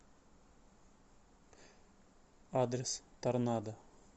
адрес торнадо